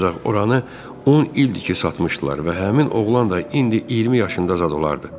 Ancaq oranı 10 ildir ki, satmışdılar və həmin oğlan da indi 20 yaşında zad olardı.